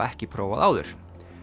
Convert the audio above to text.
ekki prófað áður